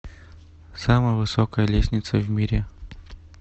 самая высокая лестница в мире